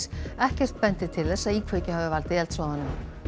ekkert bendir til þess að íkveikja hafi valdið eldsvoðanum